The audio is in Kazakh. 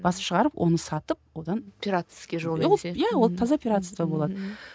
басып шығарып оны сатып одан пиратский ия ол таза пиратство болады